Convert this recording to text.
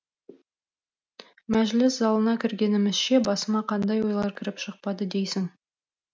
мәжіліс залына кіргенімізше басыма қандай ойлар кіріп шықпады дейсің